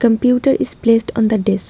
computer is placed on the desk.